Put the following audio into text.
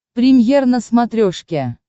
премьер на смотрешке